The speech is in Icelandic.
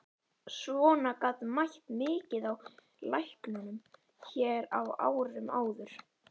Svona gat mætt mikið á læknunum hér á árum áður.